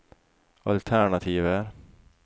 alternativer